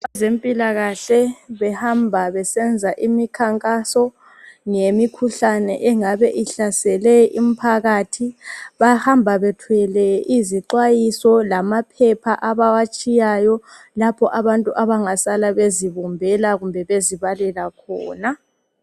Abezempilakahle behamba besenza imikhankaso, ngemikhuhlane engabe ihlasele imphakathi. Bahamba bethwele izixwayiso lamaphepha abawatshiyayo, lapho abantu abangasala bezibumbela kumbe bezibalela khona.